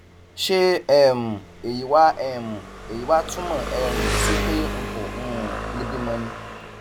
ṣé um èyí wá um èyí wá túmọ um sí pé n kò um lè bímọ ni